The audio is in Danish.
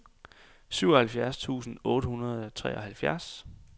syvoghalvfjerds tusind otte hundrede og treoghalvtreds